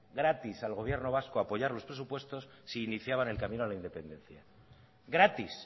gratis al gobierno vasco apoyar los presupuestos si iniciaban el camino a la independencia gratis